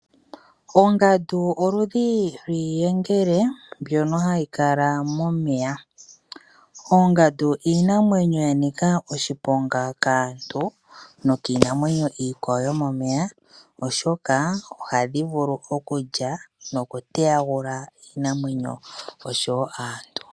Ongandu oludhi lwiiyengele mbyono hayi kala momeya. Oongandu iinamwenyo yanika oshiponga kaantu nokiinamwenyo iikwawo yomomeya oshoka ohadhi vulu okulya noku teyagula iinamwenyo oshowo aantu.